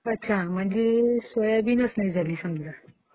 अच्छा. म्हणजे सोयाबीनच नाही झाले समजा